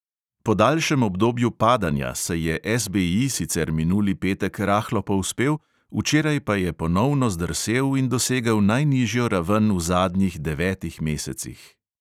Po daljšem obdobju padanja se je SBI sicer minuli petek rahlo povzpel, včeraj pa je ponovno zdrsel in dosegel najnižjo raven v zadnjih devetih mesecih.